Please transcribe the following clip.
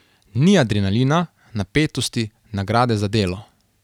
Ni adrenalina, napetosti, nagrade za delo.